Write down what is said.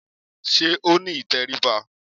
Sé ó ní ìtẹríba?